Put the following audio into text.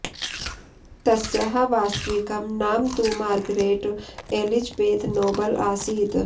तस्याः वास्तविकं नाम तु मार्गरेट् एलिजबेथ् नोबल् आसीत्